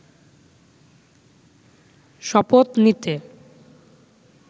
শপথ নিতে